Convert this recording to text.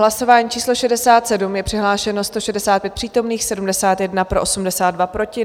Hlasování číslo 67, je přihlášeno 165 přítomných, 71 pro, 82 proti.